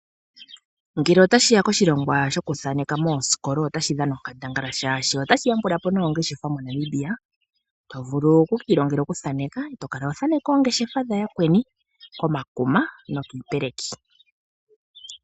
Ngele otashiya koshilongwa shokuthaneka moosikola otashi dhana onkandangala molwaashoka otashi yambulapo noongeshefa moNamibia, tovulu okukiilongela okuthaneka, to kala ho thaneke oongeshefa dha yakweni komakuma nokiipeleki.